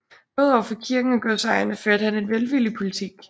Både over for kirken og godsejerne førte han en velvillig politik